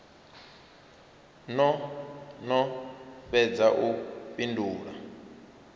no no fhedza u fhindula